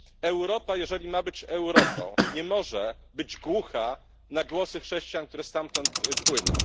Europa jeżeli ma być Europą, nie może być głucha na głosy chrześcijan, które stamtąd płyną.